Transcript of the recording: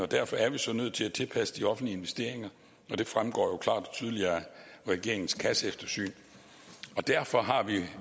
derfor er vi så nødt til at tilpasse de offentlige investeringer og det fremgår jo klart og tydeligt af regeringens kasseeftersyn og derfor har vi